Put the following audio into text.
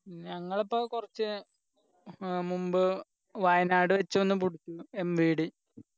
ഞങ്ങള് അപ്പം കുറച്ച് അഹ് മുമ്പ് വയനാട് വെച്ച് ഒന്ന് പിടുത്തു MVD